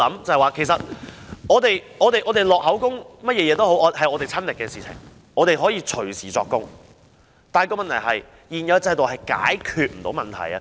這些個案都是我們親身的經歷，我們可以隨時作供，但問題是現有制度無法解決這些問題。